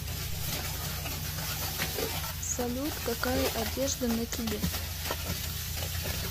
салют какая одежда на тебе